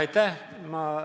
Aitäh!